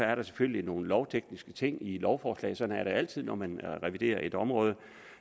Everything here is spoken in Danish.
er der selvfølgelig nogle lovtekniske ting i lovforslaget sådan er det altid når man reviderer et område